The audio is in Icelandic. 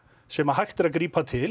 sem hægt er að grípa til